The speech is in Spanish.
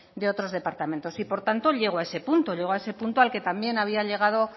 de otros departamentos por tanto llego a ese punto llego a ese punto al que también había llegado